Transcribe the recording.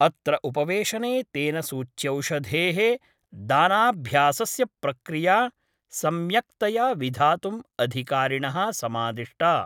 अत्र उपवेशने तेन सूच्यौषधे: दानाभ्यासस्य प्रक्रिया सम्यक्तया विधातुं अधिकारिणः समादिष्टा